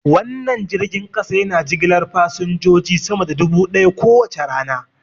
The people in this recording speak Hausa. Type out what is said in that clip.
Wannan jirgin kasa yana jigilar fasinjoji sama da dubu daya kowace rana.